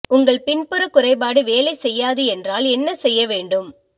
உங்கள் பின்புற குறைபாடு வேலை செய்யாது என்றால் என்ன செய்ய வேண்டும்